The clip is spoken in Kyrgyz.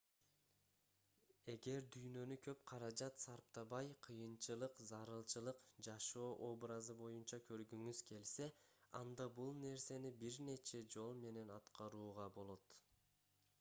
эгер дүйнөнү көп каражат сарптабай кыйынчылык зарылчылык жашоо образы боюнча көргүңүз келсе анда бул нерсени бир нече жол менен аткарууга болот